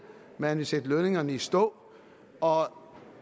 man ville sætte lønningerne i stå og